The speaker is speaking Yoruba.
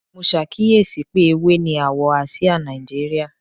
Mo ṣàkíyèsí pé ewé ni àwọ̀ àsìá Nàìjíríà